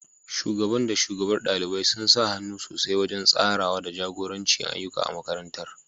Shugaban da shugabar ɗalibai sun sa hannu sosai wajen tsarawa da jagoranci ayyuka a makarantar.